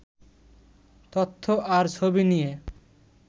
তথ্য আর ছবি নিয়ে